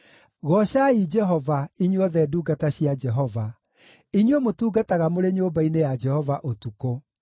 Goocai Jehova, inyuothe ndungata cia Jehova, inyuĩ mũtungataga mũrĩ nyũmba-inĩ ya Jehova ũtukũ.